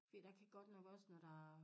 Fordi der kan godt nok også når der